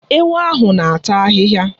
Ewu ahụ na-ata ahịhịa.